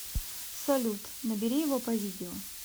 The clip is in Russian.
салют набери его по видео